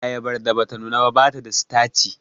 Ayabar da bata nuna ba bata da sitaci